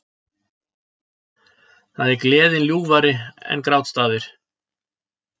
Það er Gleðin ljúfari en grátstafir